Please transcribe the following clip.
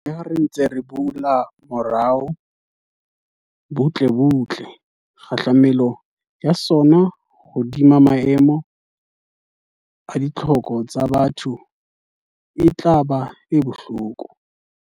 Leha re ntse re bula moruo butlebutle, kgahlamelo ya sona hodima maemo a ditlhoko tsa batho e tla ba e bohloko.